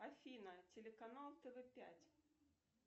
афина телеканал тв пять